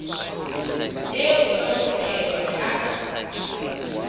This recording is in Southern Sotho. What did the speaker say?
eo ka ho tshelwa ka